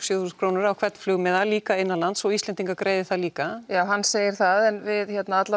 sjö þúsund krónur á hvern flugmiða en líka innanlands og Íslendingar greiði það líka já hann segir það en við